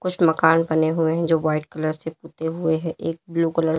कुछ मकान बने हुए हैं जो व्हाइट कलर से पुते हुए हैं एक ब्लू कलर --